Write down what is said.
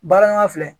Baara ɲɔgɔnya filɛ